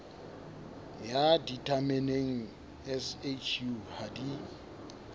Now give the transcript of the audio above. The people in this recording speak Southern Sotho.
ya ditameneng shu ha di